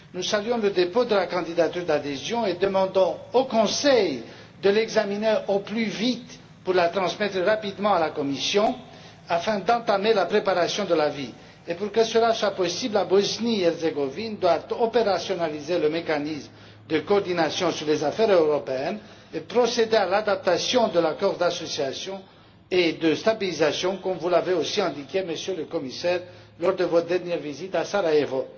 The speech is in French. Nous saluons le dépôt de la candidature d'adhésion et demandons au Conseil de l'examiner au plus vite pour la transmettre rapidement à la Commission afin d'entamer la préparation de l'avis. Pour que ce soit possible, la Bosnie Herzégovine doit rendre opérationnel le mécanisme de coordination sur les affaires européennes et procéder à l'adaptation de l'accord d'association et de stabilisation, comme vous l'avez aussi indiqué, Monsieur le Commissaire, lors de votre dernière visite à Sarajevo.